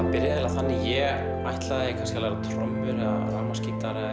þannig að ég ætlaði kannski að læra á trommur eða rafmagnsgítar eða